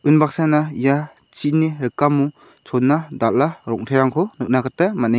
unbaksana ia chini rikamo chona dal·a rong·terangko nikna gita man·eng --